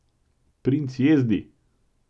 Princ jezdi!